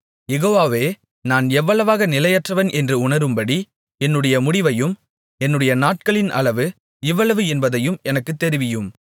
யெகோவாவே நான் எவ்வளவாக நிலையற்றவன் என்று உணரும்படி என்னுடைய முடிவையும் என்னுடைய நாட்களின் அளவு இவ்வளவு என்பதையும் எனக்குத் தெரிவியும்